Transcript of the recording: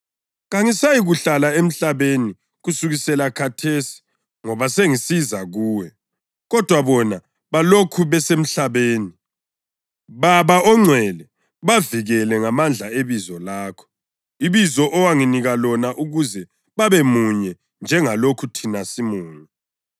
Kangisayikuhlala emhlabeni kusukela khathesi ngoba sengisiza kuwe, kodwa bona balokhu besemhlabeni. Baba Ongcwele, bavikele ngamandla ebizo lakho, ibizo owanginika lona ukuze babemunye njengalokhu thina simunye.